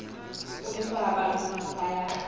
kumiswa abantu abaya